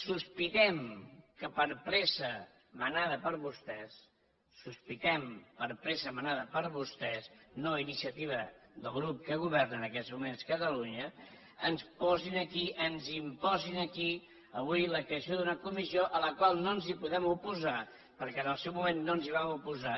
sospitem que per pressa manada per vostès sospitem que per pressa manada per vostès no a inicia tiva del grup que governa en aquests moments catalunya ens posen aquí ens la imposin aquí avui la creació d’una comissió a la qual no ens hi podem oposar perquè en el seu moment no ens hi vam oposar